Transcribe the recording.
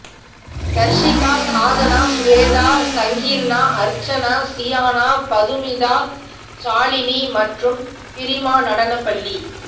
தர்சிகா சாதனா சுவேதா சங்கீர்னா அர்ச்சனா சியானா பதுமிதா சாலினி மற்றும் பிறிமா நடனப்பள்ளி